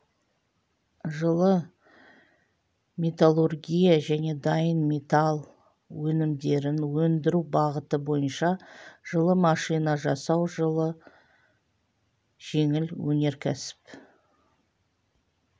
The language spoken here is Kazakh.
жылы металлургия және дайын металл өнімдерін өндіру бағыты бойынша жылы машина жасау жылы жеңіл өнеркәсіп